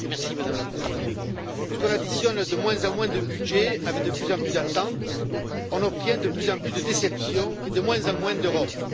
Madame la Présidente, parce qu'on combine de moins en moins de budget avec de plus en plus d'attentes, on obtient de plus en plus de déception et de moins en moins d'Europe.